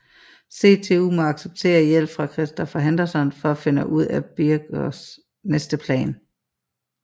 CTU må acceptere hjælp fra Christopher Henderson for at finde ud af Bierkos næste plan